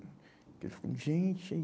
Ele falou, gente, é